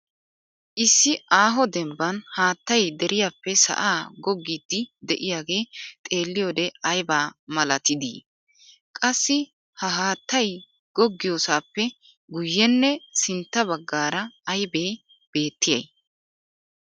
Issi aaho dembban haattay deriyappe sa'aa goggiiddi de'iyaagee xeelliyoode aybaa malatidi? Qassi ha haattay googgiyoosaappe guyyenne sintta baggaara aybee beettiya?